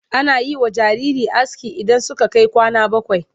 Ana yi wa jarirai aski idan suka kai kwana bakwai.